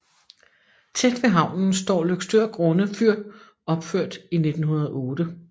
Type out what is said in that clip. Tæt ved havnen står Løgstør Grunde Fyr opført i 1908